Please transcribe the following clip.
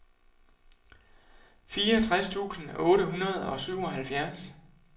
fireogtres tusind otte hundrede og syvoghalvfjerds